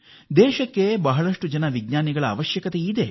ದೇಶಕ್ಕೆ ಹೆಚ್ಚು ಹೆಚ್ಚು ವಿಜ್ಞಾನಿಗಳ ಅಗತ್ಯವಿದೆ